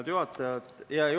Hea juhataja!